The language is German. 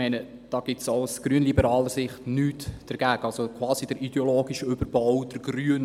Da gibt es auch aus grünliberaler Sicht nichts dagegen zu sagen.